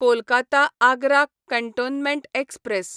Kolkata Agra cantonment express